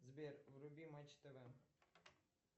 сбер вруби матч тв